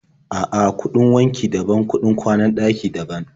A'a, kuɗin wanki daban, kuɗin kwanan ɗaki daban.